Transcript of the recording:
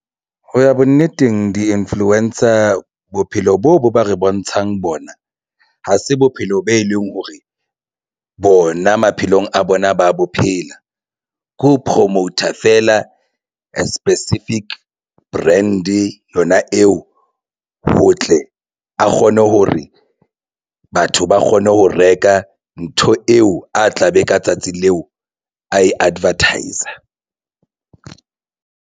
Ho ya bonneteng di-influencer bophelo bo bo ba re bontshang bona ha se bophelo be leng hore bona maphelong a bona ba bophela ke ho promoter feela specific brand yona eo ho tle a kgone ho re batho ba kgone ho reka ntho eo a tla be ka tsatsi leo a e advertise-a.